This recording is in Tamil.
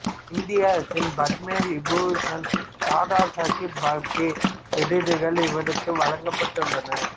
இந்திய அரசின் பத்ம விபூசண் தாதாசாஹெப் பால்கே விருதுகள் இவருக்கு வழங்கப்பட்டுள்ளன